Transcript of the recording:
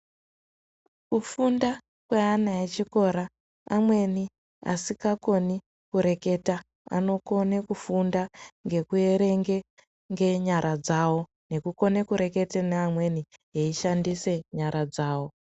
Kufunda kweana echikora amweni asikakoni kureketa anokone kufunda ngekuerenge ngenyara dzawo nekukone kurekete neamweni eishandise nyara dzawo.